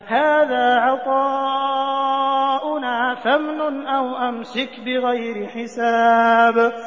هَٰذَا عَطَاؤُنَا فَامْنُنْ أَوْ أَمْسِكْ بِغَيْرِ حِسَابٍ